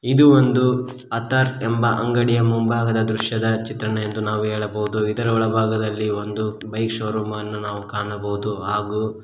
ಇದು ಒಂದು ಅಥರ್ ಎಂಬ ಅಂಗಡಿಯ ಮುಂಭಾಗದ ದೃಶ್ಯದ ಚಿತ್ರಣ ಎಂದು ನಾವು ಹೇಳಬಹುದು ಇದರ ಒಳಭಾಗದಲ್ಲಿ ಒಂದು ಬೈಕ್ ಶೋರೂಂ ಅನ್ನು ನಾವು ಕಾಣಬಹುದು ಹಾಗೂ--